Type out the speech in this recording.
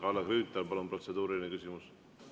Kalle Grünthal, protseduuriline küsimus, palun!